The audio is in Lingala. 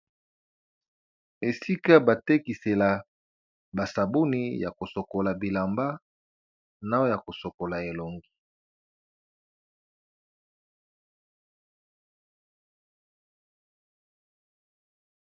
Esika ba tekisela ba sabuni yako sokola bilamba na yako sokola elongi.